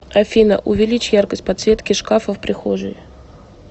афина увеличь яркость подсветки шкафа в прихожей